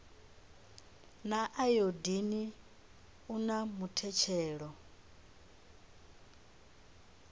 na ayodini u na muthetshelo